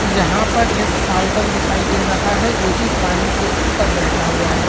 यहाँ पर एक फाल्कन दिखाई दे रहा है जोकि पानी के ऊपर बैठा हुआ है।